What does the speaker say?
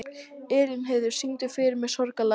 Elínheiður, syngdu fyrir mig „Sorgarlag“.